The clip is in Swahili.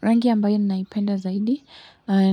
Rangi ambayo ninaipenda zaidi